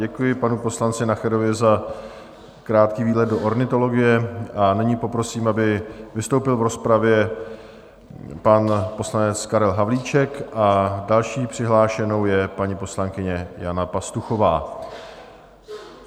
Děkuji panu poslanci Nacherovi za krátký výlet do ornitologie a nyní poprosím, aby vystoupil v rozpravě pan poslanec Karel Havlíček, a další přihlášenou je paní poslankyně Jana Pastuchová.